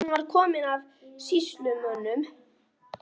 Hún var komin af sýslumönnum.